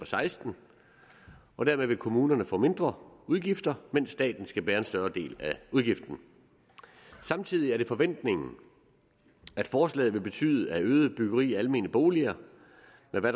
seksten og dermed vil kommunerne få mindre udgifter mens staten skal bære en større del af udgifterne samtidig er det forventningen at forslaget vil betyde at et øget byggeri af almene boliger